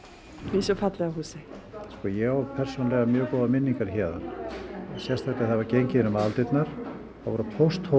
í þessu fallega húsi sko ég á persónulega mjög góðar minningar héðan sérstaklega þegar gengið var inn um aðaldyrnar þá voru pósthólfin